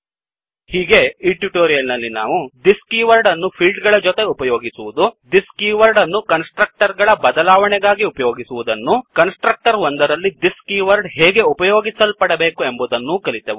ಹೀಗೆ ಈ ಟ್ಯುಟೋರಿಯಲ್ ನಲ್ಲಿ ನಾವು thisದಿಸ್ ಕೀವರ್ಡ್ ಅನ್ನು ಫೀಲ್ಡ್ ಗಳ ಜೊತೆಗೆ ಉಪಯೋಗಿಸುವದನ್ನು thisದಿಸ್ ಕೀವರ್ಡ್ ಅನ್ನು ಕನ್ಸ್ ಟ್ರಕ್ಟರ್ ಗಳ ಬದಲಾವಣೆಗಾಗಿ ಉಪಯೋಗಿಸುವದನ್ನೂ ಕನ್ಸ್ ಟ್ರಕ್ಟರ್ ಒಂದರಲ್ಲಿ thisದಿಸ್ ಕೀವರ್ಡ್ ಹೇಗೆ ಉಪಯೋಗಿಸಲ್ಪಡಬೇಕು ಎಂಬುದನ್ನೂ ಕಲಿತೆವು